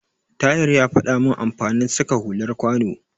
Tahir ya faɗa min amfanin saka hular kwano.